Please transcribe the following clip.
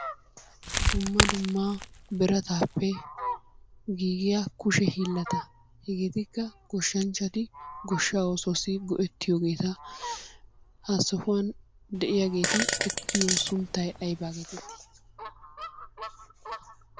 Dumma dumma birattappe giigiyaa kushshe hiilatta hegettikka goshshanchchatti goshshaa oosuwassi go'ettiyoogetta, ha sohuwaani diyaaheti ettuyo sunttay aybaa geetteti?